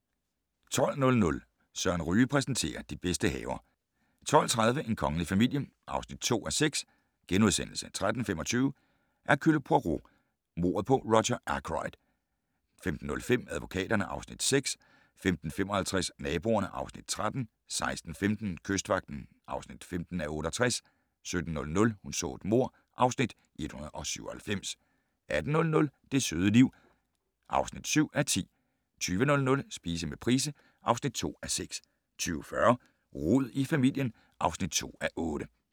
12:00: Søren Ryge præsenterer: De bedste haver 12:30: En kongelig familie (2:6)* 13:25: Hercule Poirot: Mordet på Roger Ackroyd 15:05: Advokaterne (Afs. 6) 15:55: Naboerne (Afs. 13) 16:15: Kystvagten (15:68) 17:00: Hun så et mord (Afs. 197) 18:00: Det søde liv (7:10) 20:00: Spise med Price (2:6) 20:40: Rod i familien (2:8)